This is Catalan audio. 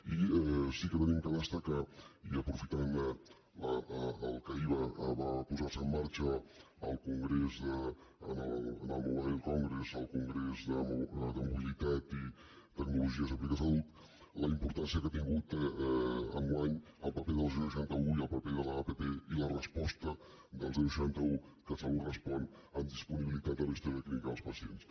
i sí que hem de destacar i aprofitant que ahir va posar se en marxa en el mobile congress el congrés de mobilitat i tecnologies aplicades a la salut la importància que ha tingut enguany el paper del seixanta un i el paper de l’app i la resposta del seixanta un catsalut respon amb disponibilitat de la història clínica dels pacients